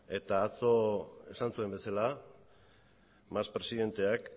eta atzo esan zuen bezala mas presidenteak